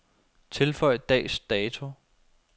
Tilføj dags dato.